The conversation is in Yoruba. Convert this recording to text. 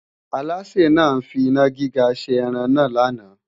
Alásè náà ń finá gíga ṣe ẹran náà lánàá